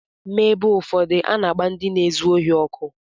N’ebe ụfọdụ, a na-agba ndị na-ezu ohi ọkụ.